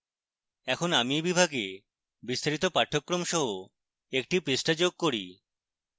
এখন আমি এই বিভাগে বিস্তারিত পাঠ্যক্রম সহ একটি পৃষ্ঠা যোগ করি